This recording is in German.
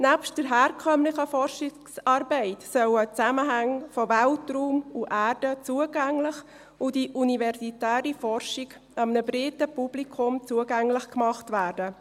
Nebst der herkömmlichen Forschungsarbeit sollen die Zusammenhänge von Weltraum und Erde zugänglich und die universitäre Forschung einem breiten Publikum zugänglich gemacht werden.